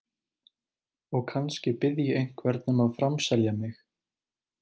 Og kannski bið ég einhvern um að framselja mig.